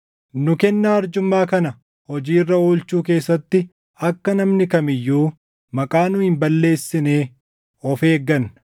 Nu kennaa arjummaa kana hojii irra oolchuu keessatti akka namni kam iyyuu maqaa nu hin balleessine of eegganna.